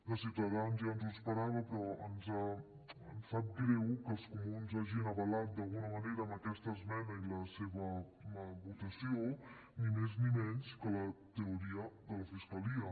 de ciutadans ja ens ho esperàvem però ens sap greu que els comuns hagin avalat d’alguna manera amb aquesta esmena i la seva votació ni més ni menys que la teoria de la fiscalia